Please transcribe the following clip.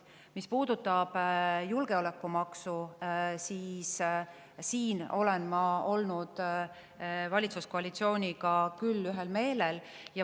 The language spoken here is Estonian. Mis puudutab julgeolekumaksu, siis selles olen ma valitsuskoalitsiooniga olnud küll ühel meelel.